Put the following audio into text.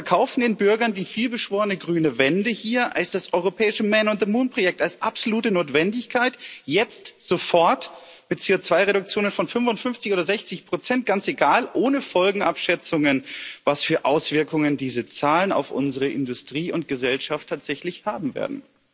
Sie verkaufen den Bürgern die vielbeschworene grüne Wende hier als das europäische Men on the Moon Projekt, als absolute Notwendigkeit jetzt sofort mit CO2-Reduktionen von 55 oder 60 ganz egal, ohne Folgenabschätzungen, was für Auswirkungen diese Zahlen auf unsere Industrie und Gesellschaft tatsächlich haben werden.